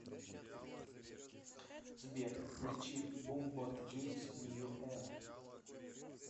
сбер включи бумботгеймс нью эра